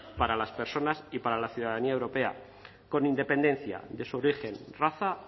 para las personas y para la ciudadanía europea con independencia de su origen raza